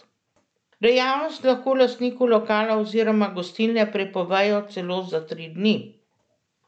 Dejavnost lahko lastniku lokala oziroma gostilne prepovejo celo za tri dni.